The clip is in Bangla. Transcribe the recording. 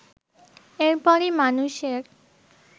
এর পরই মানুষের